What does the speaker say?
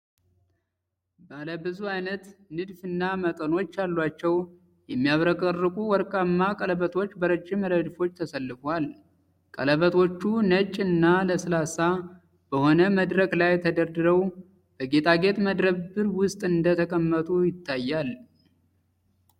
ባለ ብዙ ዓይነት ንድፍ እና መጠኖች ያላቸው የሚያብረቀርቁ ወርቃማ ቀለበቶች በረጅም ረድፎች ተሰልፈዋል። ቀለበቶቹ ነጭ እና ለስላሳ በሆነ መድረክ ላይ ተደርድረው፣ በጌጣጌጥ መደብር ውስጥ እንደተቀመጡ ይታያል።